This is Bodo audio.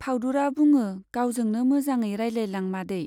फाउदुरा बुङो, गावजोंनो मोजाङै रायज्लायलां मादै।